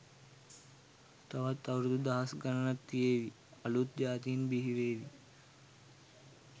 තවත් අවුරුදු දහස් ගණන් තියේවි.අලුත් ජාතීන් බිහි වේවි